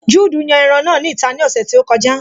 Juudu yan ẹran náà ní ìta ní ọ̀sẹ̀ tí ó kọjá